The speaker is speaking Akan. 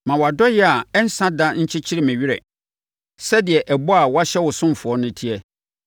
Ma wʼadɔeɛ a ɛnsa da nkyekyere me werɛ sɛdeɛ ɛbɔ a woahyɛ wo ɔsomfoɔ no teɛ.